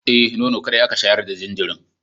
Eh, nono kaɗai aka shayar da jinjirin.